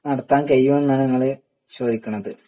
നടത്താൻ കഴിയും എന്നാണ് ചോയ്ക്കുന്നത്